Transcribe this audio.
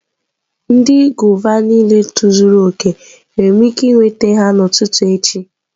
Ndị gwava niile tozuru oke, enwere m ike iweta ha n'ụtụtụ echi?